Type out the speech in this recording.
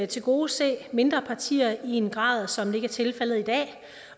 tilgodese mindre partier i en grad som ikke er tilfældet i dag